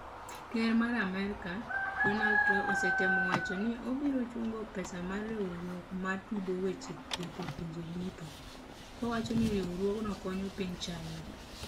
Ker mar Amerika, Donald Trump osetemo wacho ni obiro chungo pesa ma riwruok ma tudo weche thieth e pinje duto , kowacho ni riwruogno konyo piny China